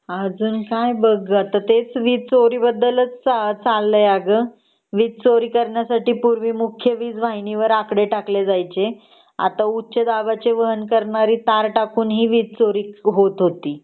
अजून काय बघ टेक वीज चोरीबद्दल च चालले अग . वीज चोरी कर्णींसाठी पूर्वी मुख्य वीज वाहिनी वर आकडे टाकले जायचे आता उच्च दाबचे वाहन करणारे तार टाकून ही वीज चोरी होत होती